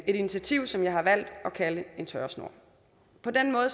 et initiativ som jeg har valgt at kalde en tørresnor på den måde